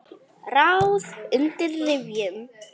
Ráð undir rifjum.